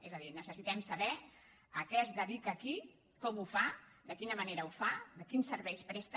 és a dir necessitem saber a què es dedica qui com ho fa de quina manera ho fa quins serveis presta